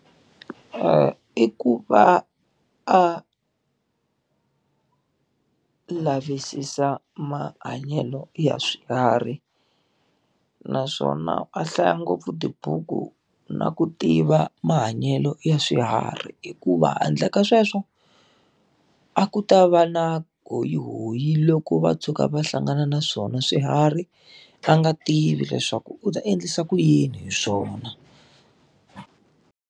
I ku va a lavisisa mahanyelo ya swiharhi. Naswona a hlaya ngopfu tibuku na ku tiva mahanyelo ya swiharhi hikuva handle ka sweswo, a ku ta va na hoyihoyi loko va tshuka va hlangana na swona swiharhi, va nga tivi leswaku u ta endlisa ku yini hi swona.